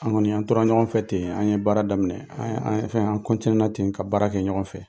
An' ŋɔni an' tora ɲɔgɔn fɛ ten, an' ye baara daminɛ. An' ye an' ye fɛn, an' ten ka baara kɛ ɲɔgɔn fɛ.